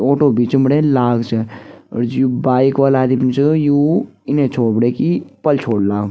ऑटो बीच म बटे लाल च और यु बाइक वाला आदिम च यु इने छोर बटेकी पल छोर लाग।